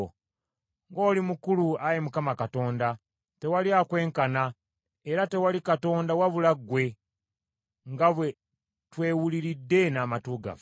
“Ng’oli mukulu, Ayi Mukama Katonda! Tewali akwenkana, era tewali Katonda wabula ggwe, nga bwe twewuliridde n’amatu gaffe.